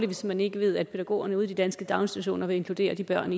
hvis man ikke ved at pædagogerne ude i danske daginstitutioner vil inkludere de børn